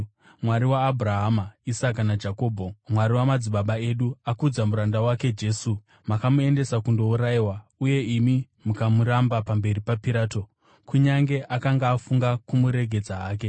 Mwari waAbhurahama, Isaka naJakobho, Mwari wamadzibaba edu, akudza muranda wake Jesu. Makamuendesa kundourayiwa, uye imi makamuramba pamberi paPirato, kunyange akanga afunga kumuregedza hake.